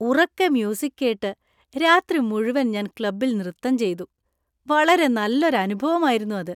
ഉറക്കെ മ്യൂസിക് കേട്ട് രാത്രി മുഴുവൻ ഞാൻ ക്ലബ്ബിൽ നൃത്തം ചെയ്തു. വളരെ നല്ലൊരു അനുഭവായിരുന്നു അത്.